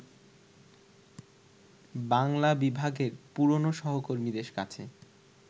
বাংলা বিভাগের পুরনো সহকর্মীদের কাছে